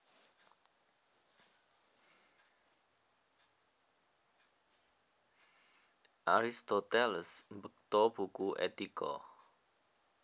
Aristoteles mbekta buku Etika